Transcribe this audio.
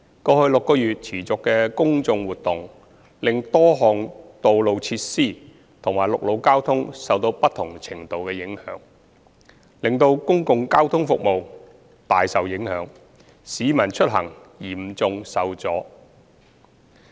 過去6個月持續的公眾活動，令多項道路設施及陸路交通受到不同程度的影響，使公共交通服務大受影響，市民出行嚴重受阻。